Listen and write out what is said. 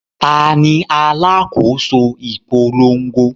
Ta ni alákòóso ìpolongo?